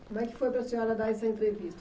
Como é que foi para a senhora dar essa entrevista?